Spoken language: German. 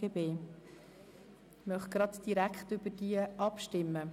Darüber möchte ich direkt abstimmen lassen.